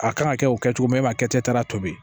A kan ka kɛ o kɛcogo min e m'a kɛtara tobi